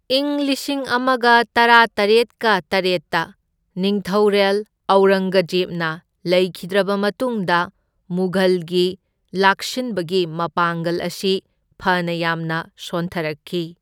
ꯏꯪ ꯂꯤꯁꯤꯡ ꯑꯃꯒ ꯇꯔꯥꯇꯔꯦꯠꯀ ꯇꯔꯦꯠꯇ ꯅꯤꯡꯊꯧꯔꯦꯜ ꯑꯧꯔꯪꯒꯖꯦꯕꯅ ꯂꯩꯈꯤꯗ꯭ꯔꯕ ꯃꯇꯨꯡꯗ ꯃꯨꯘꯜꯒꯤ ꯂꯥꯛꯁꯤꯟꯕꯒꯤ ꯃꯄꯥꯡꯒꯜ ꯑꯁꯤ ꯐꯅ ꯌꯥꯝꯅ ꯁꯣꯟꯊꯔꯛꯈꯤ꯫